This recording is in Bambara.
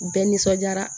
U bɛɛ nisɔndiyara